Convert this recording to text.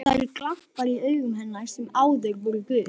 Það eru glampar í augum hennar sem áður voru gul.